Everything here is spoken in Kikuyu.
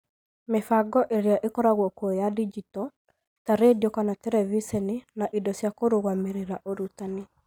Mĩbango ĩrĩa ĩkoragwo kuo ya digito (ta, redio kana terebiceni, na indo cia kũrũgamĩrĩra ũrutani).